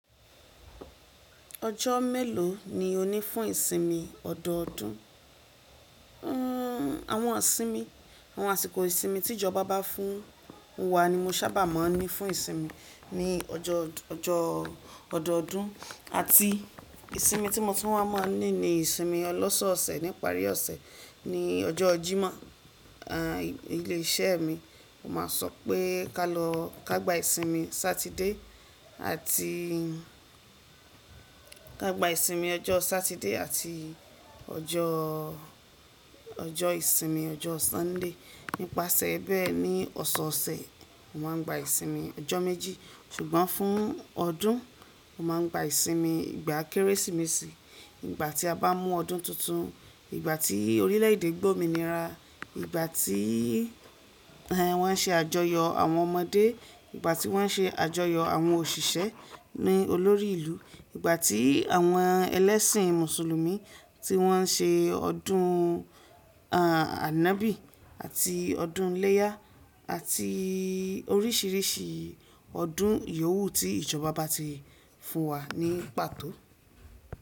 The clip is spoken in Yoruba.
Ọjọ́ mélòó ni o ní fún ìsinmi ọ̀dọ́ọdún? Awọn isinmi, àwọn àsìkò ìsinmi tí ìjọba bá fún wa ni mo sábà máa ń ní fún ìsinmi ní ọ̀dọọ́dún. Àti ìsinmi tí mo tún wá máa ń ní ni ìsinmi ọlọ́sọ̀ọ̀sẹ̀ nípa àrí ọ̀sẹ̀ ní ọjọ́ Jímọ̀. Ilé iṣẹ́ mi máa ń sọ pé ká lọ ká gba ìsinmi Saturday àti ká gba ìsinmi ọjọ́ Saturday àti ọjọ́ ìsinmi ọjọ́ Sunday. Nípasẹ̀ bẹ́ẹ̀ ni ọ̀sọ̀ọ̀sẹ̀ mo máa ń gba ìsinmi ọjọ́ méjì ṣùgbọ́n fún ọdún mo máa ń gba ìsinmi ìgbà Kérésìmesì, ìgbà tí a bá mú ọdún titun, ìgbà tí orílẹ̀ èdè gbómi nira, ìgbà tí wọ́n ṣe àjọyọ̀ àwọn ọmọdé, ìgbà tí wọ́n ṣe àjọyọ̀ àwọn òṣìṣẹ́ ní olórí ìlú, ìgbà tí àwọn ẹlẹ́sìn Mùsùlùmí tí wọ́n ṣe ọdún Ànábì àti ọdún iléyá àti oríṣìíríṣìí ọdún iyòwú tí ìjọba bá ti fún wa ní pàtó.